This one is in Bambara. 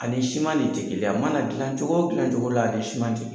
Ani siman ne tɛ kelen ye, a mana dilan cogo dilan cogo la ani ni siman te kelen ye.